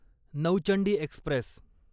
Nauchandi Express